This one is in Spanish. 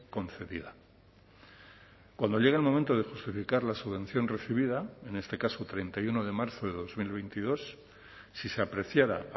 concedida cuando llega el momento de justificar la subvención recibida en este caso treinta y uno de marzo de dos mil veintidós si se apreciara